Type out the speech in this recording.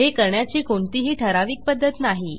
हे करण्याची कोणतीही ठराविक पध्दत नाही